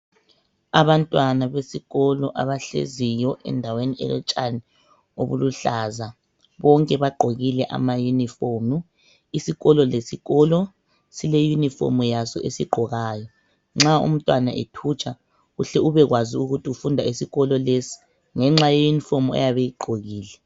Abantwana besikolo abahleziyo endaweni elotshani okuluhlaza bonke bagqokile amayunifomu. Isikolo lesikolo sileyunifomu yaso esiyigqokayo nxa umntwana ethutsha uhle ubekwazi ukuthi ufunda esikolo lesi ngenxa yeyunifomu ayabe eyigqokile.